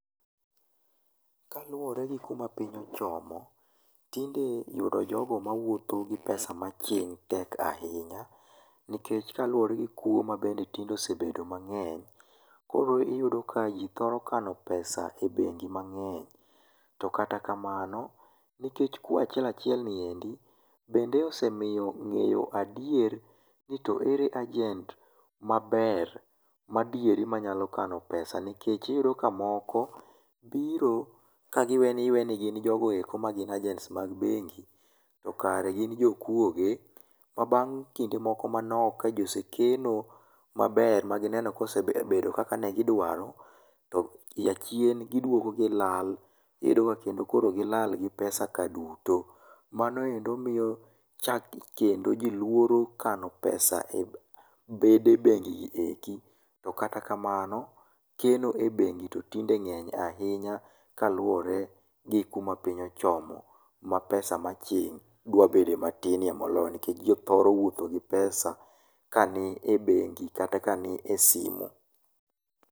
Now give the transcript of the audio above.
Kaluwore gi kuma piny ochomo, tinde yudo jogo mawuotho gi pesa maching tek ahinya, nikech kaluwore gi kwo mabende tinde osebedo mang'eny, koro iyudo ka ji thoro kano pesa e bengi mang'eny to kata kamano, nikech kuo achiel achiel niendi bende osemiyo ng'eyo adier ni to ere ajent maber madieri manyalo kano pesa nikech iyudo mka moko biro ka giwe ni gin jogo eko ma ajent mag bengi, to kare gin jokuoge ma bang' kinde moko manok ka ji osekeno maber magineno ni osebedo kaka ne gidwaro, to achien giduogo gilal. Iyudo ka kendo koro gilal gi pesa ka duto. Mano endo miyo chako kendo ji luoro kano pesa e bede bengi gi eki. To kata kamano, keno e bengi to tinde ng'eny ahinya kaluwore gi kuma piny ochomo ma pesa ma aching' dwa bede matinie moloyo nikech ji thoro wuotho gi pesa ka nie bengi kata kanie simu.